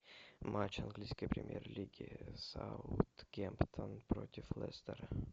матч английской премьер лиги саутгемптон против лестера